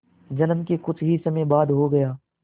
जन्म के कुछ ही समय बाद हो गया